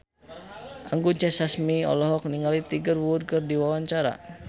Anggun C. Sasmi olohok ningali Tiger Wood keur diwawancara